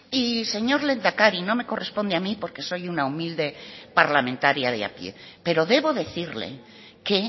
y señor lehendakari no me corresponde a mi porque soy una humilde parlamentaria de a pie pero debo decirle que